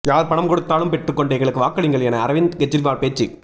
யார் பணம் கொடுத்தாலும் பெற்றுக்கொண்டு எங்களுக்கு வாக்களியுங்கள் என அரவிந்த் கெஜ்ரிவால் பேச்சு